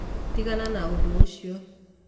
Tigana na ũndũ ũcio.